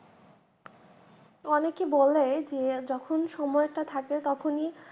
অনেকে বলে যে যখন সময়টা থাকে তখনি